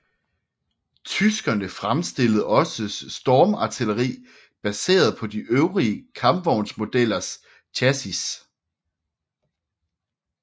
Tyskerne fremstillede også stormartilleri baseret på de øvrige kampvognsmodellers chassis